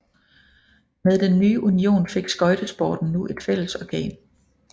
Med den nye union fik skøjtesporten nu et fællesorgan